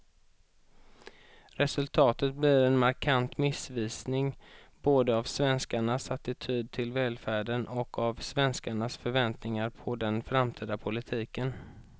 Resultatet blir en markant missvisning både av svenskarnas attityd till välfärden och av svenskarnas förväntningar på den framtida politiken.